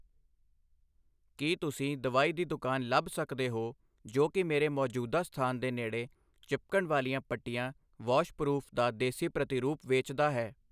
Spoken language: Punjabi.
ਕੀ ਤੁਸੀਂ ਦਵਾਈ ਦੀ ਦੁਕਾਨ ਲੱਭ ਸਕਦੇ ਹੋ ਜੋ ਕਿ ਮੇਰੇ ਮੌਜੂਦਾ ਸਥਾਨ ਦੇ ਨੇੜੇ ਚਿਪਕਣ ਵਾਲੀਆਂ ਪੱਟੀਆਂ ਵਾਸ਼ਪਰੂਫ ਦਾ ਦੇਸੀ ਪ੍ਰਤੀਰੂਪ ਵੇਚਦਾ ਹੈ?